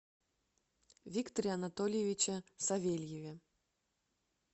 викторе анатольевиче савельеве